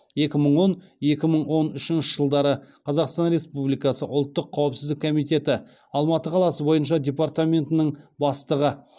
екі мың он екі мың он үшінші жылдары қазақстан республикасы ұлттық қауіпсіздік комитеті алматы қаласы бойынша департаментінің бастығы